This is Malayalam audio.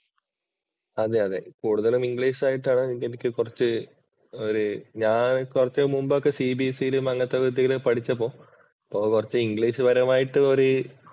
അതെ അതെ കൂടുതലും ഇംഗ്ലീഷ് ആയിട്ടാണ് എനിക്ക് കുറച്ച് ഞാൻ കുറച്ചു മുമ്പ് ഒക്കെ CBSE യിലും അങ്ങനത്തെയൊക്കെ പഠിച്ചപ്പോൾ കുറച്ച് ഇംഗ്ലീഷ് പരമായിട്ട്